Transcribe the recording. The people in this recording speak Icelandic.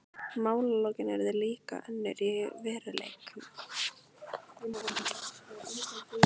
Málalokin urðu líka önnur í veruleikanum.